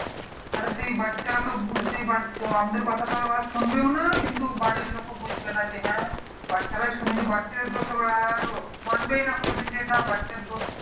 আর সেই বাচ্চারা বুঝতেই পারছো আমাদের কথা তারা সুনবেও না কিন্তু বাড়ি লোকও বুঝবে না কি হ্যাঁ বাচ্চারা ই শুনেনি বাচ্চা দের দোষ হবে . মানবেই না কোনো দিন যে বাচ্চার দোষ